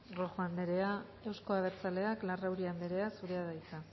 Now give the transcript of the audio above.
rojo anderea euzko abertzaleak larrauri anderea zurea da hitza